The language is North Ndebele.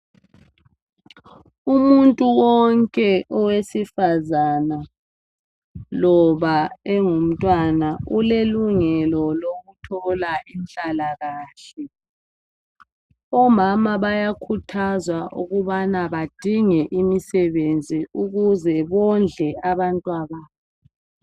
Umuntu wonke owesifazana loba engumtwana ulelungelo lokuthola inhlalakahle. Omama bayakhuthazwa ukubana badinge imisebenzi ukuze bondle abantwababo.